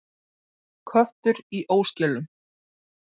Köttur í óskilum.